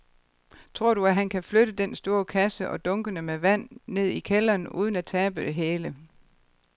Tror du, at han kan flytte den store kasse og dunkene med vand ned i kælderen uden at tabe det hele?